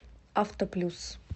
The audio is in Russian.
авто плюс